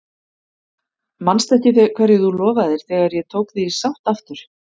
Manstu ekki hverju þú lofaðir þegar ég tók þig í sátt aftur?